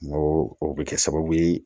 N ko o bɛ kɛ sababu ye